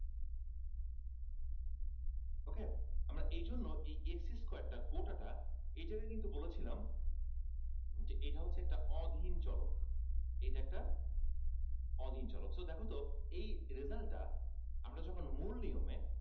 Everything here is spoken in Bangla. ok আমরা এইজন্য এই x square টা গোটা টা এইখানে কিন্তু বলেছিলাম যে এটা হচ্ছে একটা অধীন চলক বলেছিলাম অধীন চলক so দেখ তো এই result টা আমরা যখন মূল নিয়মে